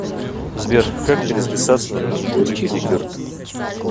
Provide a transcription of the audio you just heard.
сбер как перезаписаться на маникюр и педикюр